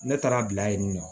Ne taara bila yen nɔ